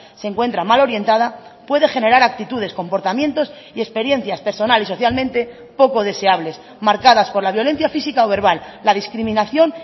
se encuentra mal orientada puede generar actitudes comportamientos y experiencias personal y socialmente poco deseables marcadas por la violencia física o verbal la discriminación